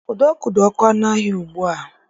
Ụdọ ọkụ dị oké ọnụ ahịa ugbu a